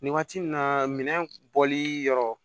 Nin waati nin na minɛn bɔli yɔrɔ